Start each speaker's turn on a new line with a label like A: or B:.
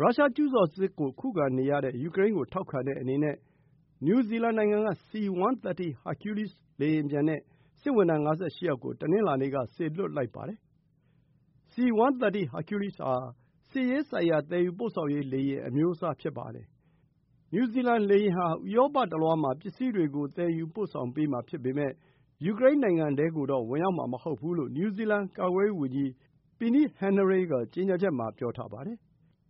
A: ရုရှားကျူးကျော်စစ်ကို ခုခံနေရတဲ့ယူကရိန်းကိုထောက်ခံတဲ့အနေနဲ့ နယူးဇီလန်နိုင်ငံက C-130 Hercules လေယာဉ်ပျံနဲ့ စစ်ဝန်ထမ်း ၅၈ ယောက်ကို တနင်္လာနေ့ က စေလွှတ်လိုက်ပါတယ်။ C-130 Hercules ဟာ စစ်ရေးဆိုင်ရာ သယ်ယူပို့ဆောင်ရေး လေယာဉ် အမျိုးအစားဖြစ်ပါတယ်။ နယူးဇီလန်လေယာဉ်ဟာ ဥရောပတလွှားပစ္စည်းတွေကို သယ်ယူပို့ဆောင်ပေးမှာဖြစ်ပေမယ့် ယူကရိန်းနိုင်ငံထဲကိုတော့ ဝင်ရောက်မှာ မဟုတ်ဘူးလို့ နယူးဇီလန် ကာကွယ်ရေးဝန်ကြီး Peeni Henare က ကြေညာချက်မှာ ပြောထားပါတယ်